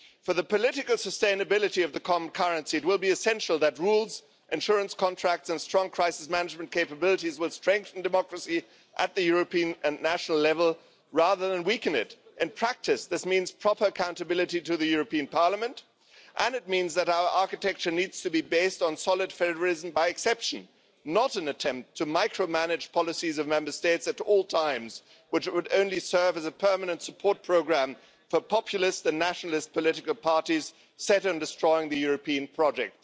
For the political sustainability of the common currency, it will be essential that rules, insurance contracts and strong crisis management capabilities strengthen democracy at the European and national level, rather than weaken it. In practice, this means proper accountability to the European Parliament, and it means that our architecture needs to be based on solid federalism by exception, not an attempt to micromanage policies of Member States at all times, which would only serve as a permanent support programme for populists and nationalist political parties set on destroying the European project.